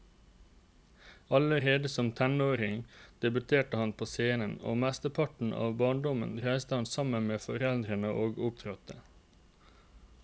Allerede som treåring debuterte han på scenen, og mesteparten av barndommen reiste han sammen med foreldrene og opptrådte.